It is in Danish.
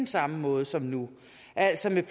samme måde som nu altså at man